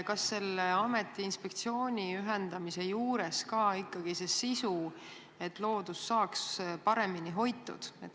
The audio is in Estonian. Kas selle ameti ja inspektsiooni ühendamisel ikkagi on see sisuline eesmärk, et loodus saaks paremini hoitud?